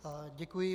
Děkuji.